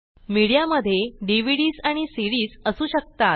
media मधे DVDs आणि CDsअसू शकतात